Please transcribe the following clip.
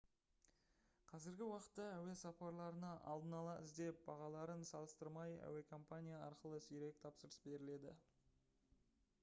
қазіргі уақытта әуе сапарларына алдын ала іздеп бағаларын салыстырмай әуекомпания арқылы сирек тапсырыс беріледі